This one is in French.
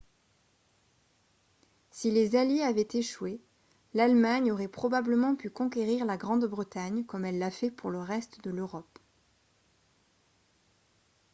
si les alliés avaient échoué l'allemagne aurait probablement pu conquérir la grande-bretagne comme elle l'a fait pour le reste de l'europe